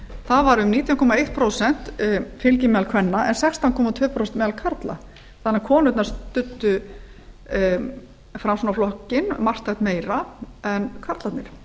það var um nítján komma eitt prósent fylgi meðal kvenna en sextán komma tvö prósent meðal karla þannig að konurnar studdu framsfl marktækt meira en karlarnir